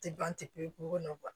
Tɛ ban pepewu ko nɔn